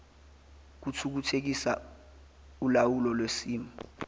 kuthuthukisa ulawulo lwesimo